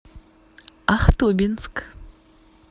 ахтубинск